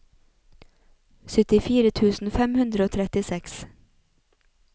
syttifire tusen fem hundre og trettiseks